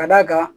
Ka d'a kan